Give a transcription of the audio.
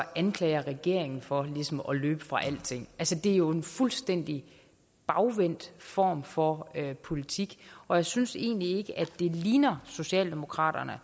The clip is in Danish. anklager regeringen for ligesom at løbe fra alting det er jo en fuldstændig bagvendt form for politik og jeg synes egentlig ikke at det ligner socialdemokraterne at